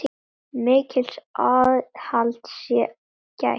Mikils aðhalds sé gætt.